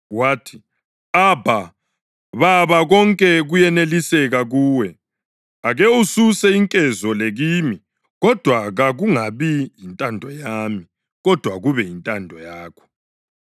Wathi, “\+tl Abha,\+tl* Baba, konke kuyeneliseka kuwe. Ake ususe inkezo le kimi. Kodwa kakungabi yintando yami, kodwa kube yintando yakho.”